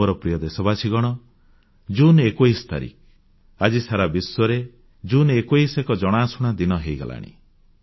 ମୋର ପ୍ରିୟ ଦେଶବାସୀଗଣ ଜୁନ୍ 21 ତାରିଖ ଆଜି ସାରା ବିଶ୍ୱରେ ଜୁନ୍ 21 ଏକ ଜଣାଶୁଣା ଦିନ ହୋଇଗଲାଣି